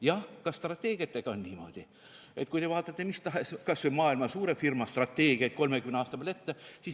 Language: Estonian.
Jah, strateegiatega on niimoodi, et vaadake kas või maailma suurte firmade strateegiaid 30 aasta peale ette.